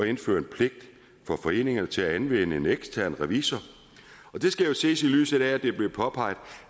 at indføre en pligt for foreninger til at anvende en ekstern revisor og det skal jo ses i lyset af at det er blevet påpeget